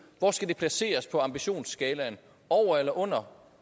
hvor skal det placeres på ambitionsskalaen over eller under